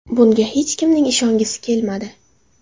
Bunga hech kimning ishongisi kelmadi”.